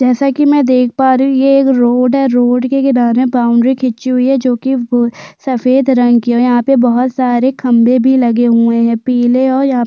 जैसा की मै देख पा रही हूँ ये एक रोड है रोड के किनारे बाउंड्री खींची हुई है जो की सफ़ेद रंग की हैं और यहाँ पे बहोत सारे खंम्भे भी लगे हुए है पीले और यहाँ पे--